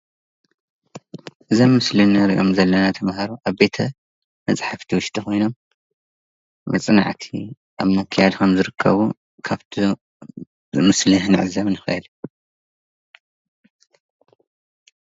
እዞም ኣብ ምስሊ ንርኦም ዘለና ተማሃሩ ኣብ ቤተ መፃሓፍት ውሽጢ ኮይኖም መፅንዓት ኣብ ምክያድ ከምዝርከቡ ክፍቲ ምስል ክንዕዘብ ንክእል።